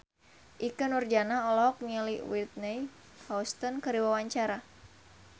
Ikke Nurjanah olohok ningali Whitney Houston keur diwawancara